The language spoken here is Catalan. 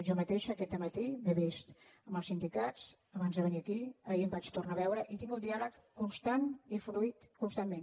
jo mateixa aquest matí m’he vist amb els sindicats abans de ve·nir a aquí ahir m’hi vaig tornar a veure i hi he tingut un diàleg constant i fluït constantment